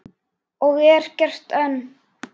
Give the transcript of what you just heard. Og er gert enn.